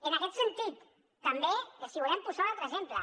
en aquest sentit també els volem posar un altre exemple